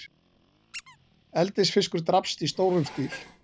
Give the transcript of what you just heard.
Eldisfiskur drapst í stórum stíl